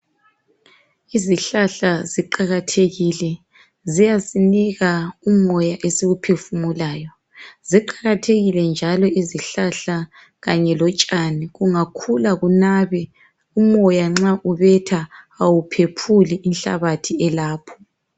Izihlahla ziqakathekile, ziyasinika umoya esiwuphefumulayo. Ziqakathekile njalo izihlahla kanye lotshani, kungakhula kunabe, umoya nxa ubetha, awuphephuli inhlabathi elapho.